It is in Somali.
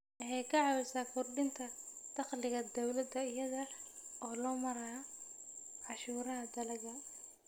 Waxay ka caawisaa kordhinta dakhliga dawladda iyada oo loo marayo cashuuraha dalagga.